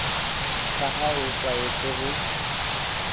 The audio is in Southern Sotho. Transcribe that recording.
ka ha o tlwaetse ho